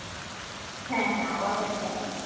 হ্যাঁ হ্যাঁ আওয়াজ হচ্ছে না?